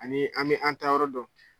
Ani an bɛ an taa yɔrɔ dɔn.